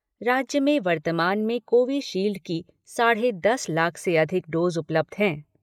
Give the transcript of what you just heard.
राज्य में वर्तमान में कोविशील्ड की साढ़े दस लाख से अधिक डोज उपलब्ध हैं।